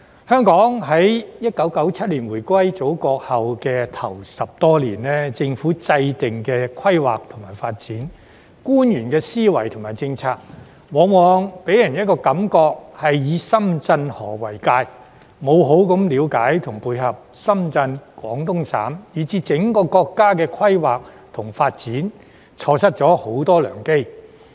香港1997年回歸祖國後首10多年，政府制訂的規劃及發展，官員的思維及政策，往往予人的感覺是以深圳河為界，沒有好好了解和配合深圳、廣東省以至整個國家規劃及發展，錯失了很多良機。